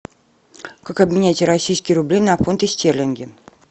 как обменять российские рубли на фунты стерлинги